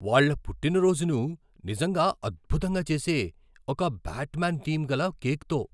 వాళ్ళ పుట్టినరోజును నిజంగా అద్భుతంగా చేసే ఒక బ్యాట్మ్యాన్ థీమ్ గల కేక్తో!